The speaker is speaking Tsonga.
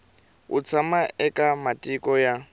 u tshama eka matiko ya